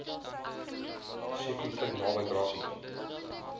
zeekoevlei naby grassy